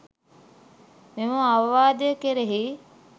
මෙම අවවාදය කෙරෙහි